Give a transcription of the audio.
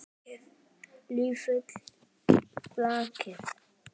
Lifi blakið!